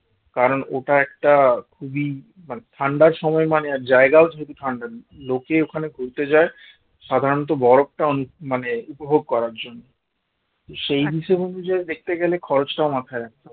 কারণ ওটা একটা খুবই মানে ঠান্ডার সময় মানে জায়গাও শুধু ঠান্ডা নেই লোকের ওখানে ঘুরতে যায় সাধারণত বরফটা মানে উপভোগ করার জন্য সেই হিসাব অনুযায়ী দেখতে গেলে খরচটাও মাথায় রাখতে হবে